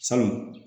Sabu